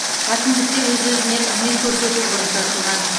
әкімдікте өз өзіне қызмет көрсету бұрышы ашылған